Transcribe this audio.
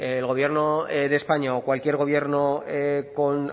el gobierno de españa o cualquier gobierno con